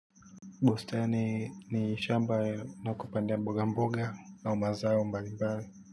Bustani ni shamba ya kupandia mboga mboga au mazao mbali.